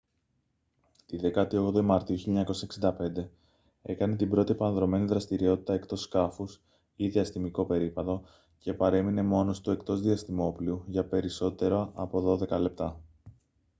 τη 18η μαρτίου 1965 έκανε την πρώτη επανδρωμένη δραστηριότητα εκτός σκάφους ή «διαστημικό περίπατο» και παρέμεινε μόνος του εκτός διαστημόπλοιου για περισσότερα από δώδεκα λεπτά